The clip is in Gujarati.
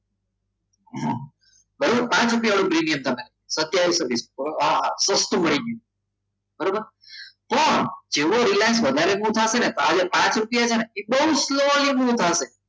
બરાબર પાંચ રૂપિયા તમે સસ્તા મળી ગયું બરાબર પણ એવો રિલાયન્સ વધારે વોટ આપે ને આજે પાંચ રૂપિયા છે ને એ બહુ slowly move થશે